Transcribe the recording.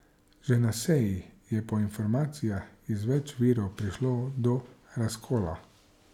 Že na seji je po informacijah iz več virov prišlo do razkola.